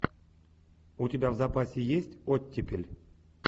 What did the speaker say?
у тебя в запасе есть оттепель